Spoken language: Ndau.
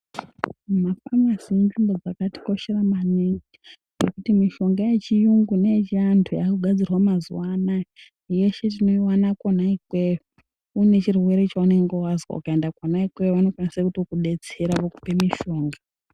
Mafamasi Inzvimbo dzakatikoshera maningi kuti mushonga yechiyungu neye chiantu yakugadzirwa mazuwa anaa yeshe tinoiwana kwona ikweyo une chirwere chaunenge wazwa ukaenda kwona ikweyo anokwanisa kuto kudetsera vokupe mishonga.